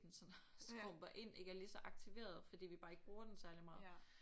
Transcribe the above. Den sådan skrumper ind ikke er lige så aktiveret fordi vi bare ikke bruger den særlig meget